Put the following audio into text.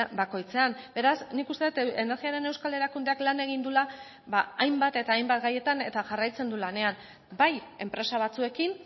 bakoitzean beraz nik uste dut energiaren euskal erakundeak lan egin duela hainbat eta hainbat gaietan eta jarraitzen du lanean bai enpresa batzuekin